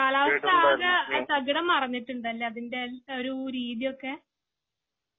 കാലാവസ്ഥ ആകെ തകിടം മറിഞ്ഞിട്ടുണ്ട് അല്ലേ . അതിന്റെ എല്ലാ ഒരു രീതി ഒക്കെ